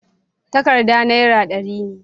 takarda naira dari ne